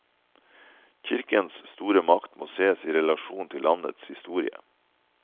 Kirkens store makt må sees i relasjon til landets historie.